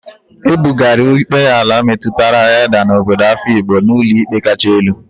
E bugara ikpe ala metụtara Edda na obodo afikpo n'ụlọikpe kacha elu.